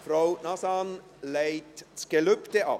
Frau Nazan legt das Gelübde ab.